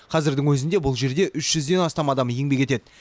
қазірдің өзінде бұл жерде үш жүзден астам адам еңбек етеді